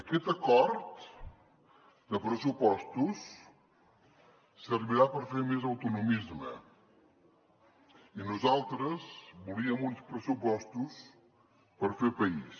aquest acord de pressupostos servirà per fer més autonomisme i nosaltres volíem uns pressupostos per fer país